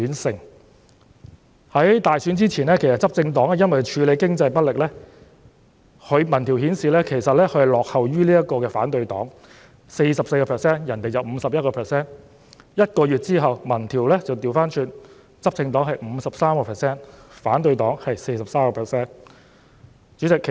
在大選之前，執政黨由於處理經濟問題不力，民調顯示支持度落後於反對黨，他們原來只有 44% 的支持率，而對方卻有 51%； 但1個月後，民調逆轉，執政黨是 53%， 反對黨是 43%。